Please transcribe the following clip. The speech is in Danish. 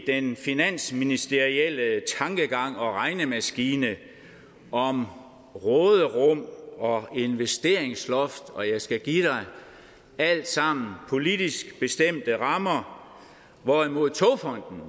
i den finansministerielle tankegang og regnemaskine om råderum og investeringsloft og jeg skal give dig alt sammen politisk bestemte rammer hvorimod togfonden